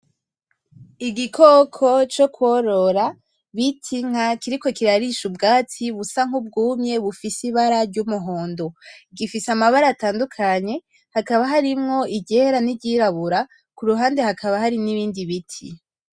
Igikoko co kworora bita inka kiriko kirarisha ubwatsi busa nk'ubwumye bufise ibara ry'umuhondo, gifise amabara atandukanye , hakaba harimwo iryera n'iryirabura kuruhande hakaba hari n'ibindi biti.